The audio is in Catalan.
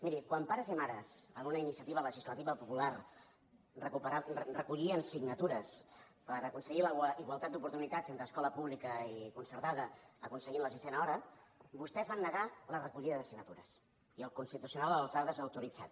miri quan pares i mares en una iniciativa legislativa popular recollien signatures per aconseguir la igualtat d’oportunitats entre escola pública i concertada per aconseguir la sisena hora vostès van negar la recollida de signatures i el constitucional els ho ha desautoritzat